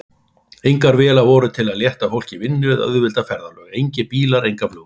Engar vélar voru til að létta fólki vinnu eða auðvelda ferðalög, engir bílar, engar flugvélar.